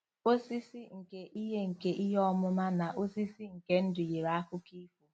Osisi nke ihe nke ihe ọmụma na osisi nke ndụ yiri akụkọ ifo.